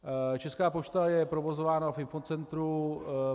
Česká pošta je provozována v infocentru.